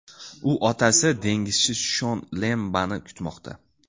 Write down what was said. U otasi dengizchi Shon Lembani kutmoqda.